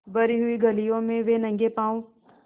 भरी हुई गलियों में वे नंगे पॉँव स्